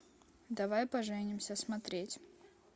давай поженимся смотреть